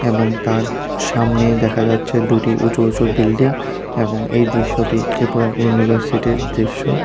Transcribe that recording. এবং তার সামনেই দেখা যাচ্ছে দুটি উঁচু উচুঁ বিল্ডিং এবং এই দৃশ্যটি ত্রিপুরা ইউনিভার্সিটির দৃশ্য।